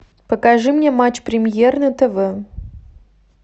покажи мне матч премьер на тв